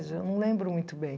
Eu não lembro muito bem.